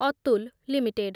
Atul limited